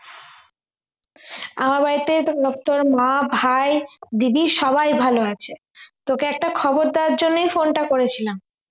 আমার বাড়ির থেকে প্রত্যেকে মা ভাই দিদি সবাই ভালো আছে তোকে একটা খবর দেওয়ার জন্যেই phone টা করেছিলাম